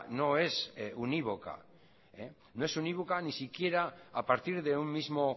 no es unívoca no es unívoca ni siquiera a partir de un mismo